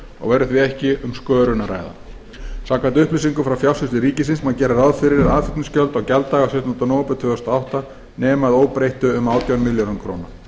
og verður því ekki um skörun að ræða samkvæmt upplýsingum frá fjársýslu ríkisins má gera ráð fyrir að aðflutningsgjöld á gjalddaga sautjánda nóvember tvö þúsund og átta nemi að óbreyttu um átján milljörðum króna